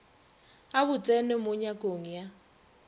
a botseno mo nyakong ya